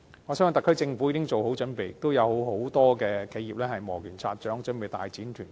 我相信特區政府已妥善準備，亦有很多企業磨拳擦掌，準備大展拳腳。